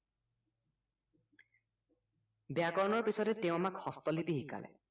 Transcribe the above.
ব্য়াকৰণৰ পিছতে তেওঁ আমাক হস্তলিপি শিকালে